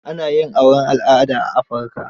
Ana yin auren al'ada a Afirika.